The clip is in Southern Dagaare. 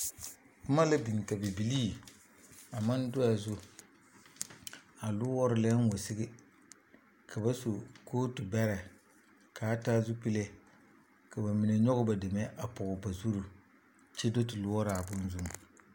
Boma la biŋ ka bibilii a maŋ do a zu a loɔre lɛɛŋ wa sigi ka ba su kootu bɛrɛ k,a taa zupile ka ba mine nyɔge ba deme a pɔge ba zuri kyɛ do te loɔrɔ a bone zuŋ.